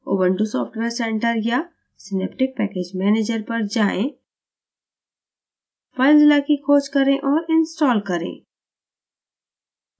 ubuntu software centre या synaptic package manager पर जाएं filezilla की खोज करें और install करें